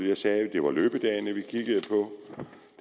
initiativer der